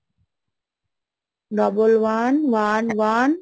Double one, one, one,